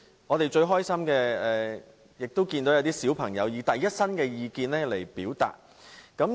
我們最開心的是看到一些小朋友以第一身的角度表達意見。